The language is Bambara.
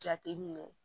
Jateminɛ